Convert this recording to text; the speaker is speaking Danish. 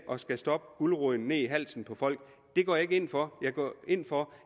at stoppe guleroden ned i halsen på folk og det går jeg ikke ind for jeg går ind for